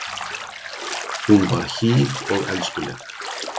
Hún var hýr og elskuleg.